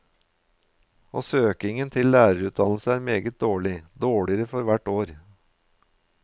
Og søkningen til lærerutdannelse er meget dårlig, dårligere for hvert år.